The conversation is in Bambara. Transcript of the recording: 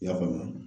I y'a faamu